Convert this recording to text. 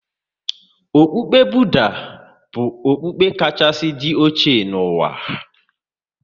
Okpukpe Budha bụ okpukpe kachasị dị oche n'ụwa.